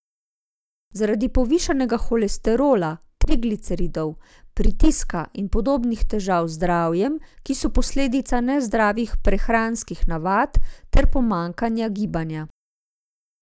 Zaradi povišanega holesterola, trigliceridov, pritiska in podobnih težav z zdravjem, ki so posledica nezdravih prehranskih navad ter pomanjkanja gibanja.